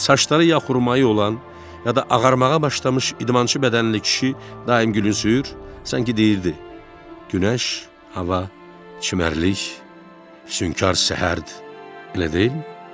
Saçları ya xurmayı olan, ya da ağarmağa başlamış idmançı bədənli kişi daim gülümsüyür, sanki deyirdi: Günəş, hava, çimərlik, sünkar səhərdir, elə deyilmi?